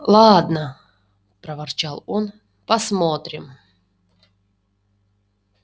ладно проворчал он посмотрим